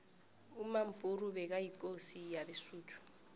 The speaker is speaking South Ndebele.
umampuru bekayikosi yabesuthu